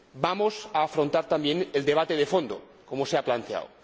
vamos a afrontar también el debate de fondo, como se ha planteado.